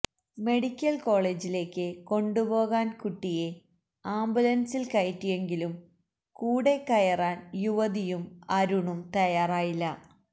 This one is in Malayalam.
മെഡിക്കല് കോളജിലേക്ക് കൊണ്ടുപോകാന് കുട്ടിയെ ആംബുലന്സില് കയറ്റിയെങ്കിലും കൂടെകയറാന് യുവതിയും അരുണും തയാറായില്ല